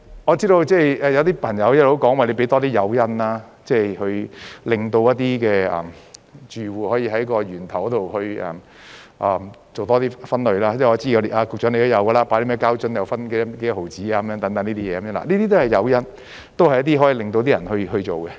我知道有些朋友一直表示，要多提供誘因，令住戶可以在源頭多做分類，因為我知道局長也有這樣做，例如膠瓶可以有多少毫子等，這些都是誘因，都是一些可以令市民去做的方法。